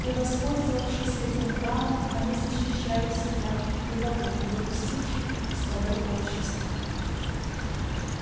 и воспользовавшись этим правом они защищали себя и богов допустивших их в своё общество